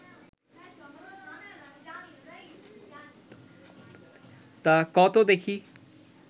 তা ক ত দেখি